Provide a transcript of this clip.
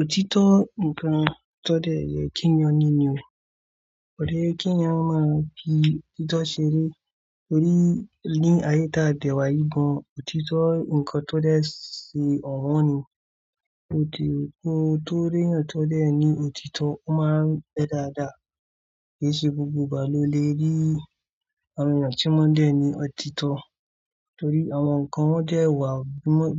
Òtítọ́ ǹkan tó dẹ̀ yẹ kí ń yan nínì o. Ódẹ̀ ẹ kí ń yan máa fi òtítọ́ ṣeré torí ní àyé tá dẹ̀ wá yìí gan, òtítọ́ ǹkan tó dẹ̀ ṣe ọ̀wọ́n ni. Ótì kóo tó rí èèyàn tó dẹ̀ ní òtítọ́, o máa ń pẹ́ dáadáa. Kì í ṣe gbogbo ìgbà ló lè rí àwọn èèyàn tí wọ́n dẹ̀ ní òtítọ́ torí àwọn ǹkan wọ́n dẹ̀ wà,